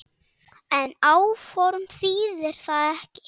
En áform þýðir það ekki.